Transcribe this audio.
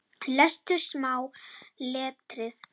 Lestu smáa letrið.